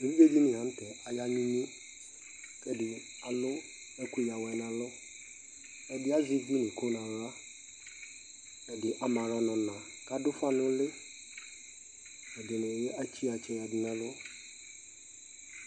Evidzedini la nu tɛ aya nu inye alu ɛku ya awɛ du ɛlu ɛdi azɛ uwlenyi ko nu aɣla ku ama aɣla nu ona kadu ufa nu uli evidzedini etse iɣatsɛ yanu ɛlu